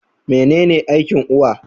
Mene ne aikin uwa?